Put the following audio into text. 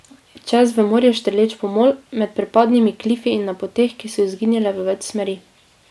Čez v morje štrleč pomol, med prepadnimi klifi in na poteh, ki so izginjale v več smeri.